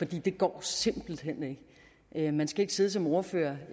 det går simpelt hen ikke man skal ikke sidde som ordfører